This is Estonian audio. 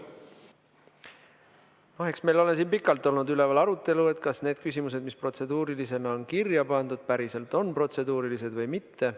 Eks meil ole siin pikalt olnud üleval arutelu, kas need küsimused, mis protseduurilisena on kirja pandud, päriselt on protseduurilised või mitte.